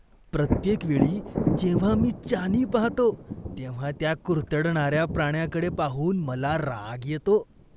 प्रत्येक वेळी जेव्हा मी चानी पाहतो, तेव्हा त्या कुडतरणाऱ्या प्राण्याकडे पाहून मला राग येतो.